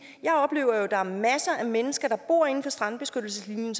jeg oplever at der er masser af mennesker der bor inden for strandbeskyttelseslinjen